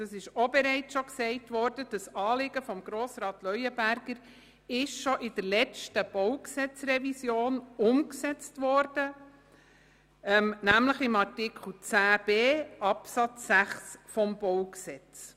Zudem wurde das Anliegen von Grossrat Leuenberger – wie schon erwähnt – bereits im Rahmen der letzten BauGRevision mit Artikel 10b Absatz 6 umgesetzt.